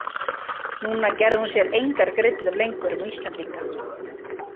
Núna gerði hún sér engar grillur lengur um Íslendinga.